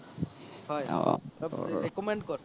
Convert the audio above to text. recommend কৰ